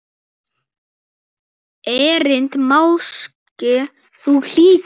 Erindi máske þú hlýtur.